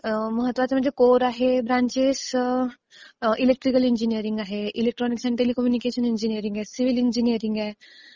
अं, महत्वाचं म्हणजे कोर आहे, ब्रांचेस अं इलेक्ट्रिकल इंजिनीरिंग आहे, इलेक्ट्रॉनिक्स अँड टेलिकम्युनिकेशन इंजिनीरिंग आहे, सिव्हिल इंजिनीरिंग आहे.